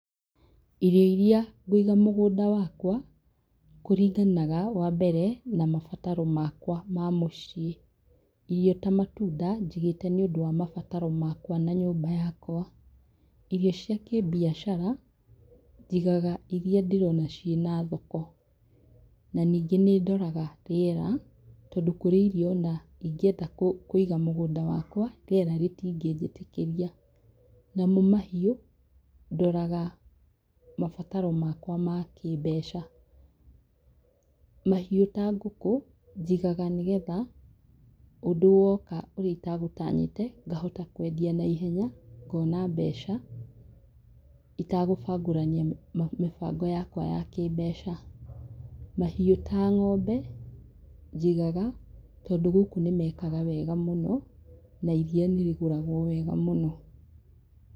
Irio iria ngũiga mũgũnda wakwa, kũringanaga, wa mbere, na mabataro makwa ma mũciĩ. Irio ta matunda njigĩĩte nĩũndũ wa mabataro makwa na nyũmba yakwa. Irio cia kĩmbicara, njigaga iria ndĩrona ciĩna thoko. Na ningĩ nĩ ndoraga rĩera tondũ kũrĩ irio ona ingĩenda kũiga mũgũnda wakwa, rĩera rĩtingĩnjĩtĩkĩria. Namo mahiũ, ndoraga mabataro makwa ma kĩmbeca. Mahiũ ta ngũkũ, njigaga nĩgetha ũndũ woka ,urĩa itagũtanyĩte, ngahota kwendia naihenya, ngoona mbeca, itagũbangũrania mĩbango yakwa ya kĩmbeca. Mahiũ ta ng'ombe, njigaga tondũ gũkũ nĩ meekaga wega mũno na iria nĩ rĩgũragwo wega mũno.